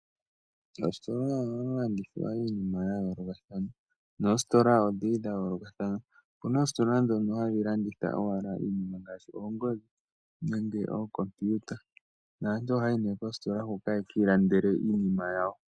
Moositola ohamu landithwa iinima ya yoolokathana. Opuna oositola ndhono hadhi landitha owala iinima ngaashi oongodhi nenge ookompiyuta naantu ohayayi nee koositola hoka yeki ilandele iinima yawo.